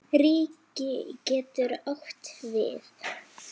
Ríki getur átt við